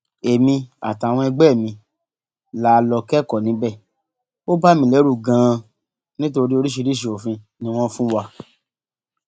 èmi àtàwọn ẹgbẹ mi la lọọ kẹkọọ níbẹ ó bà mí lẹrù ganan nítorí oríṣiríṣii òfin ni wọn fún wa